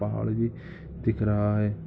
पहाड़ भी दिख रहा है।